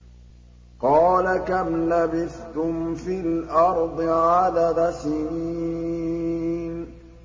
قَالَ كَمْ لَبِثْتُمْ فِي الْأَرْضِ عَدَدَ سِنِينَ